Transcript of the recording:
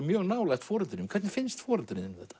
mjög nálægt foreldrum þínum hvernig finnst foreldrum þínum þetta